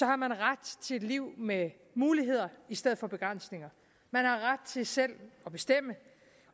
har man ret til et liv med muligheder i stedet for begrænsninger man har ret til selv at bestemme